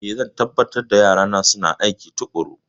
Ee, zan tabbatar da yarana suna aiki tuƙuru.